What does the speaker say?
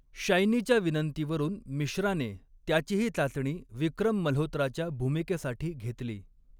शायनीच्या विनंतीवरून, मिश्राने त्याचीही चाचणी विक्रम मल्होत्राच्या भूमिकेसाठी घेतली.